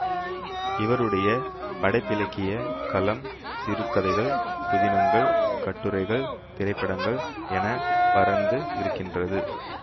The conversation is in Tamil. இவருடைய படைப்பிலக்கியக் களம் சிறுகதைகள் புதினங்கள் கட்டுரைகள் திரைப்படங்கள் என பரந்து இருக்கின்றது